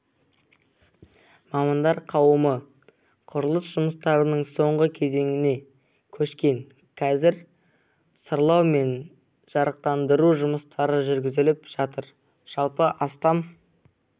мамандар қауымы құрылыс жұмыстарының соңғы кезеңіне көшкен қазір сырлау мен жарықтандыру жұмыстары жүргізіліп жатыр жалпы астам